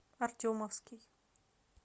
артемовский